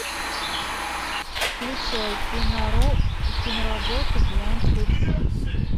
включай киноработу бриллиантовые псы